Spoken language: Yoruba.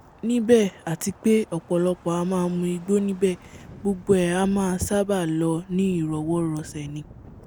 níbẹ̀ àti pé ọ̀pọ̀lọpọ̀ a máa mu igbó níbẹ̀ gbogbo ẹ̀ a máa sábàá lọ ní ìrọwọ́-rọsẹ̀ ni